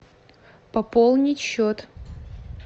пополнить счет